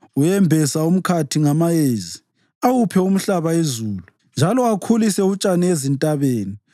Uyembesa umkhathi ngamayezi; awuphe umhlaba izulu njalo akhulise utshani ezintabeni.